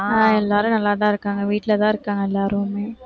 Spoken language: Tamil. ஆஹ் எல்லாரும் நல்லாதான் இருக்காங்க வீட்டுலதான் இருக்காங்க எல்லாருமே